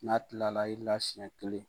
N'a tilala i la siɲɛ kelen